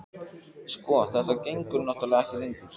Sko. þetta gengur náttúrlega ekki lengur.